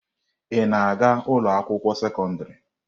Ị na-aga ụlọ akwụkwọ sekọndrị?